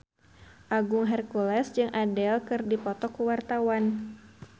Agung Hercules jeung Adele keur dipoto ku wartawan